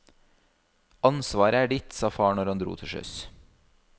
Ansvaret er ditt, sa far når han dro til sjøs.